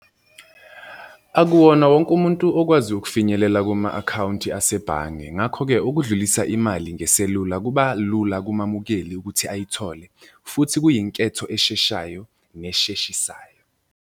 Akuwona wonke umuntu okwaziyo ukufinyelela kuma-akhawunti asebhange, ngakho-ke ukudlulisa imali ngeselula kuba lula kumamukeli ukuthi ayithole futhi kuyinketho esheshayo nesheshisayo.